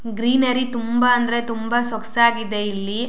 Greenery ತುಂಬಾ ಅಂದ್ರೆ ತುಂಬಾ ಸೊಗಸಾಗಿದೆ ಇಲ್ಲಿ.